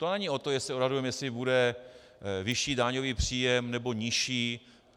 To není o tom, jestli odhadujeme, jestli bude vyšší daňový příjem, nebo nižší.